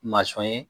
ye